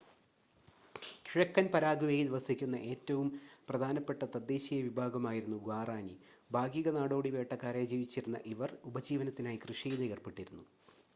കിഴക്കൻ പരാഗ്വേയിൽ വസിക്കുന്ന ഏറ്റവും പ്രധാനപ്പെട്ട തദ്ദേശീയ വിഭാഗമായിരുന്നു ഗ്വാറാനി ഭാഗിക നാടോടി വേട്ടക്കാരായി ജീവിച്ചിരുന്ന ഇവർ ഉപജീവനത്തിനായി കൃഷിയിലും ഏർപ്പെട്ടിരുന്നു